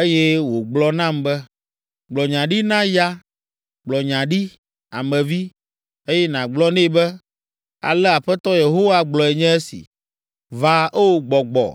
Eye wògblɔ nam be, “Gblɔ nya ɖi na ya, gblɔ nya ɖi, Ame vi, eye nàgblɔ nɛ be, ‘Ale Aƒetɔ Yehowa gblɔe nye si. Va, o, gbɔgbɔ,